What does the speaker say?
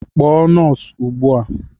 Kpọọ nọọsụ ugbu a